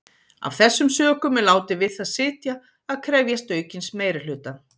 Af þessum sökum er látið við það sitja að krefjast aukins meirihluta.